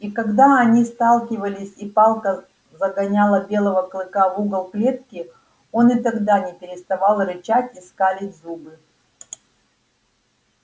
и когда они сталкивались и палка загоняла белого клыка в угол клетки он и тогда не переставал рычать и скалить зубы